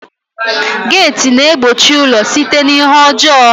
Geeti na-egbochi ụlọ site n'ihe ọjọọ